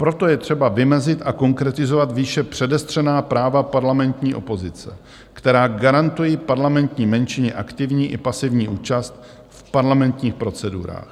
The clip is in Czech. Proto je třeba vymezit a konkretizovat výše předestřená práva parlamentní opozice, která garantují parlamentní menšině aktivní i pasivní účast v parlamentních procedurách.